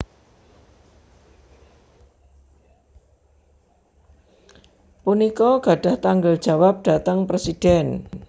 punika gadhah tanggel jawab dhateng Presidhèn